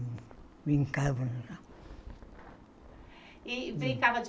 Brincava E brincava de